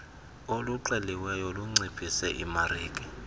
oluxeliweyo lunciphise imarike